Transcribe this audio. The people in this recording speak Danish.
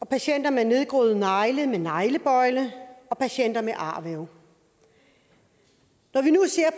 patienter med nedgroede negle med neglebøjle og patienter med arvæv når vi nu ser